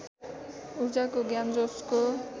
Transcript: ऊर्जाको ज्ञान जसको